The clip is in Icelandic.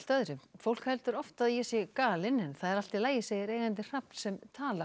fólk heldur oft að ég sé galin en það er allt í lagi segir eigandi hrafns sem talar